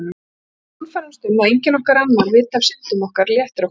Ef við sannfærumst um að enginn annar viti af syndum okkar léttir okkur strax.